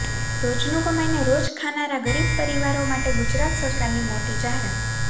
રોજનું કમાઈને રોજ ખાનારા ગરીબ પરિવારો માટે ગુજરાત સરકારની મોટી જાહેરાત